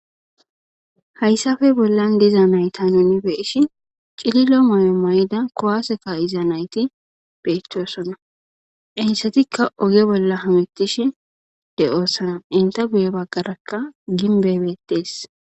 hayssafe bollan diza nayta nuni beeshi cililo moyo mayda kowaaseka iza nayti beetosona ensetikka oge bolla hametish de oosana inta guyo baggarakka ginbebeettees